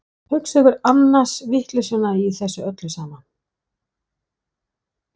Hugsið ykkur annars vitleysuna í þessu öllu saman!